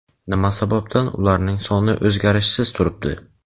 nima sababdan ularning soni o‘zgarishsiz turibdi?.